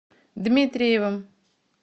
дмитриевым